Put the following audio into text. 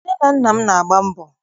Nne na nna m na-agba mbọ.